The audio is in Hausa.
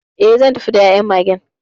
E, zan tafi da ya'yan Magen '..